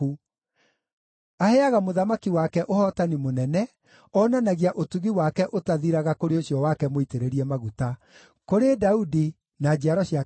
Aheaga mũthamaki wake ũhootani mũnene; onanagia ũtugi wake ũtathiraga kũrĩ ũcio wake mũitĩrĩrie maguta, kũrĩ Daudi na njiaro ciake nginya tene.